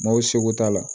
Maaw seko t'a la